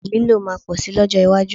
Wíìgì lílò máa pọ̀ si lọ́jọ́ iwájú